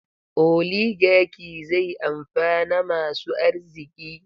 Oligaki zai amfana masu arziki.